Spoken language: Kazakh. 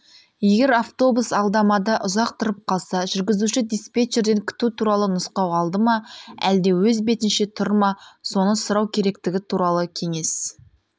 егер автобус алдамада ұзақ тұрып қалса жүргізуші диспетчерден күту туралы нұсқау алды ма әлде өз бетінше тұр ма соны сұрау керектігі туралы кеңес